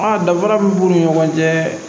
A danfara min b'u ni ɲɔgɔn cɛ